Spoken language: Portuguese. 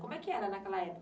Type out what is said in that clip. Como é que era naquela época?